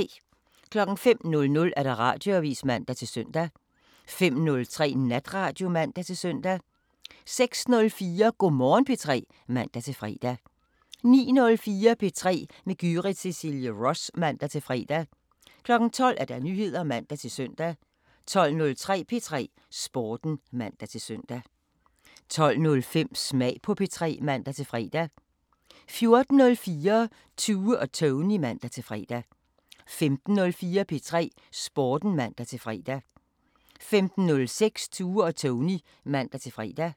05:00: Radioavisen (man-søn) 05:03: Natradio (man-søn) 06:04: Go' Morgen P3 (man-fre) 09:04: P3 med Gyrith Cecilie Ross (man-fre) 12:00: Nyheder (man-søn) 12:03: P3 Sporten (man-søn) 12:05: Smag på P3 (man-fre) 14:04: Tue og Tony (man-fre) 15:04: P3 Sporten (man-fre) 15:06: Tue og Tony (man-fre)